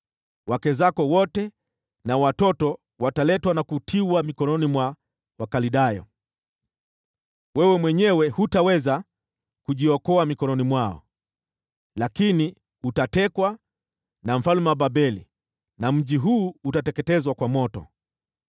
“Wake zako wote na watoto wataletwa na kutiwa mikononi mwa Wakaldayo. Wewe mwenyewe hutaweza kujiokoa mikononi mwao. Lakini utatekwa na mfalme wa Babeli, na mji huu utateketezwa kwa moto.”